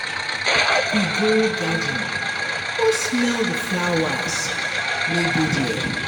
Make we go garden go smell di flowers wey dey there.